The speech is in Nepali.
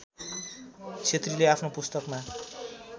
क्षेत्रीले आफ्नो पुस्तकमा